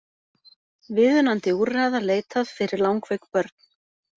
Viðunandi úrræða leitað fyrir langveik börn